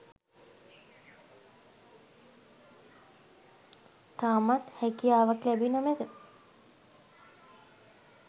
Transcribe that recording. තවමත් හැකියාවක් ලැබී නො මැත.